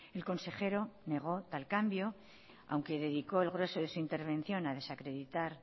el consejero negó tal cambio aunque dedicó el grueso de su intervención a desacreditar